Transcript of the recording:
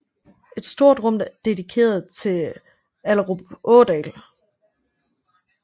Et stort rum er dedikeret til Illerup Ådal